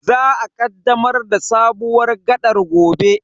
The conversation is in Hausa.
Za a kaddamar da sabuwar gaɗar gobe.